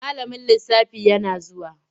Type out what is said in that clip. Malamin lisafi yana zuwa.